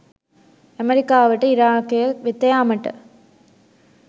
ඇමරිකාවට ඉරාකය වෙත යාමට